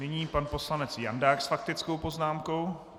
Nyní pan poslanec Jandák s faktickou poznámkou.